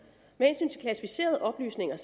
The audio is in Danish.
med hensyn til klassificerede oplysninger